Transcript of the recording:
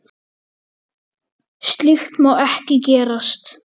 Slíkt má ekki gerast.